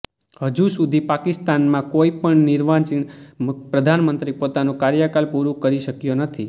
હજુ સુધી પાકિસ્તાનમાં કોઈ પણ નિર્વાચિત પ્રધાનમંત્રી પોતાનું કાર્યકાલ પૂરું કરી શક્યો નથી